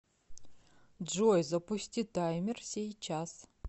джой запусти таймер сейчас